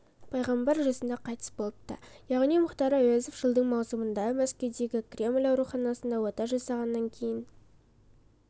пайғамбар жасында қайтыс болыпты яғни мұхтар әуезов жылдың маусымында мәскеудегі кремль ауруханасында ота жасалғаннан кейін